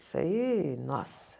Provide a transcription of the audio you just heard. Isso aí, nossa.